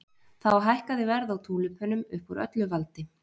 Þá hækkaði verð á túlípönum upp úr öllu valdi.